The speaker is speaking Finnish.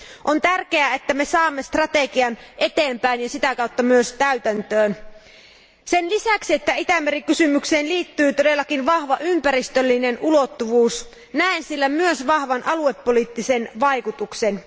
On tärkeää, että saamme vietyä strategiaa eteenpäin ja sitä kautta myös täytäntöön. Sen lisäksi, että Itämeri kysymykseen liittyy todellakin vahva ympäristöllinen ulottuvuus, näen sillä myös vahvan aluepoliittisen vaikutuksen.